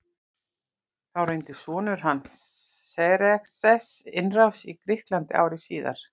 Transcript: Þá reyndi sonur hans Xerxes innrás í Grikkland ári síðar.